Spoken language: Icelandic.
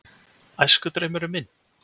Æskudraumurinn minn?